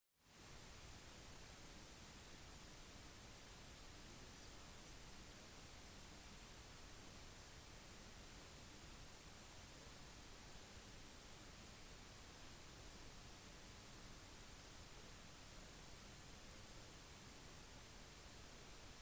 det er ukjent hva slags anklager som blir lagt frem eller hva som førte myndighetene frem til gutten men ungdomsrettssaker har begynt i føderal domstol